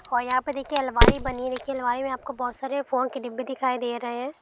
--और यहां पे देखिए अलमारी बनी दिखी अलमारी में आपको बहुत सारी फोन की डिब्बे दिखाई दे रहे है।